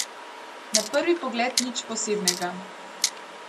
Na prvi pogled nič posebnega.